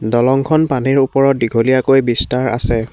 দলংখন পানীৰ ওপৰত দীঘলীয়াকৈ বিস্তাৰ আছে।